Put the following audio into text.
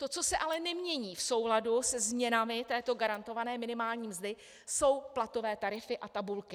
To, co se ale nemění v souladu se změnami této garantované minimální mzdy, jsou platové tarify a tabulky.